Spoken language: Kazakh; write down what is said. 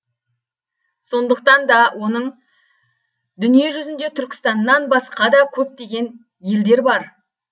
сондықтан да оның дүние жүзінде түркістаннан басқа да көптеген елдер бар